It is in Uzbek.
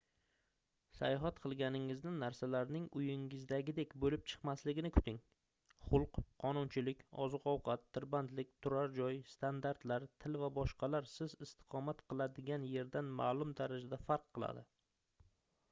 sayohat qilganingizda narsalarning uyingizdagidek boʻlib chiqmasligini kuting xulq qonunchilik oziq-ovqat tirbandlik turar joy standartlar til va boshqalar siz istiqomat qiladigan yerdan maʼlum darajada farq qiladi